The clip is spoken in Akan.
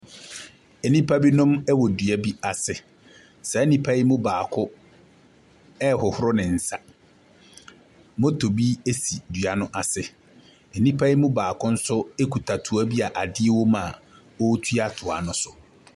Nnipa binom wɔ dua bi ase. Saa nnipa yi mu baako rehohoro ne nsa. Moto bi si dua no ase. Nnipa yi mu baako nso kuta toa bi a adeɛ wɔ mu a ɔretua toa no so.